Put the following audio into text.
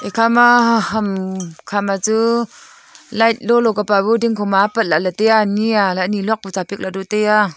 ekhama ham khama chu light lolo kapa bu dingkho ma apat lahley taiya ani a alah e niluak buchu apik lahdu e taiya.